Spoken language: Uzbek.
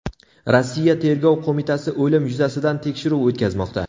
Rossiya tergov qo‘mitasi o‘lim yuzasidan tekshiruv o‘tkazmoqda.